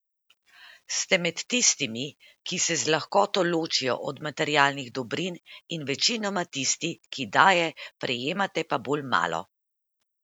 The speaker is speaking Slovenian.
Ste med tistimi, ki se z lahkoto ločijo od materialnih dobrin, in večinoma tisti, ki daje, prejemate pa bolj malo.